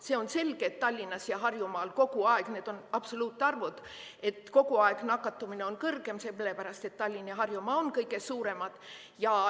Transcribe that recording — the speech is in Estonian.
See on selge, et Tallinnas ja Harjumaal on kogu aeg – need on absoluutarvud – nakatumine kõrgem, seepärast et Tallinn ja Harjumaa on kõige suuremad.